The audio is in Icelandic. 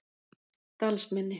Dalsmynni